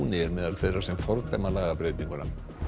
er meðal þeirra sem fordæma lagabreytinguna